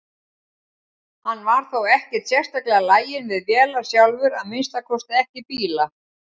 Hann var þó ekkert sérstaklega laginn við vélar sjálfur, að minnsta kosti ekki bíla.